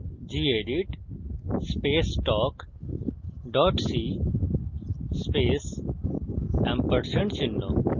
gedit space talk dot c space &